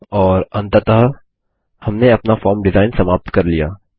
और अंततः हमने अपना फॉर्म डिजाईन समाप्त कर लिया